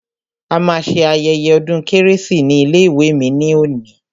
A ma ṣe ayẹyẹ ọdún kérésì ní ilé ìwé mi ní òní.